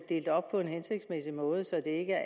delt op på en hensigtsmæssig måde så det ikke er